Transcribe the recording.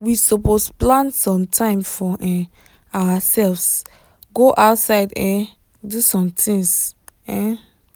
we suppose plan some time for um ourselves go outside um do some tings. um